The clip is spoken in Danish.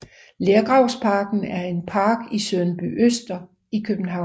Lergravsparken er en park i Sundbyøster i København